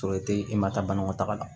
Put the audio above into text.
Sɔrɔ e te i ma taa banakɔ taga la